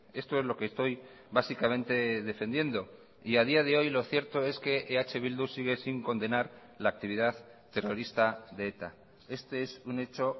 esto es lo que estoy básicamente defendiendo y a día de hoy lo cierto es que eh bildu sigue sin condenar la actividad terrorista de eta este es un hecho